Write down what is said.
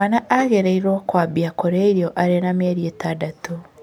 Mwana agĩrĩiruo kwambia kũrĩa irio arĩ wa mĩeri ĩtandatũ.